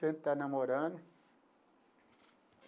Que a gente está namorando.